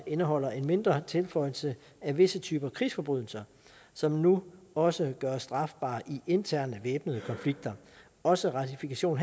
indeholder en mindre tilføjelse af visse typer krigsforbrydelser som nu også gøres strafbare i interne væbnede konflikter også ratifikation